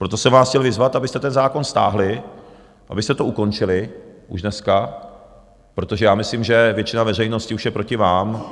Proto jsem vás chtěl vyzvat, abyste ten zákon stáhli, abyste to ukončili už dneska, protože já myslím, že většina veřejnosti už je proti vám.